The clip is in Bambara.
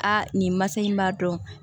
Aa nin ma se in b'a dɔn